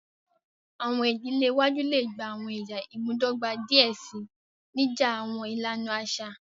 Awọn idile iwaju le gba awọn ẹya imudọgba diẹ sii, nija awọn ilana aṣa.